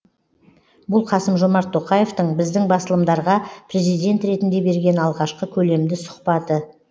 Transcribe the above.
бұл қасым жомарт тоқаевтың біздің басылымдарға президент ретінде берген алғашқы көлемді сұхбаты